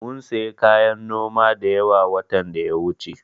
Mum sayi kayan noma da yawa, watan da ya wuce.